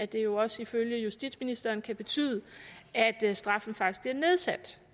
det jo også ifølge justitsministeren kan betyde at straffen faktisk bliver nedsat